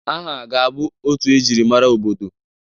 Aha ga-abụ otu e jirimara obodo.